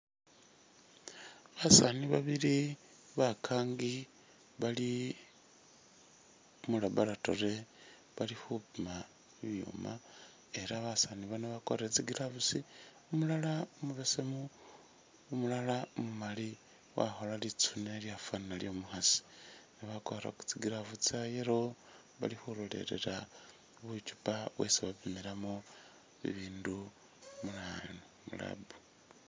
Basaani babili bakaangi bali mu laboratory bali khupima bibyuuma ela basaani bano bakwarire tsi gloves, umulala umubesemu umulala umumali wakhola litsuune lyafwana lyo'omukhasi. Bakwarire tsi gloves tsa yellow bali khulolelela bucupa bwesi bapimilamu mu lab.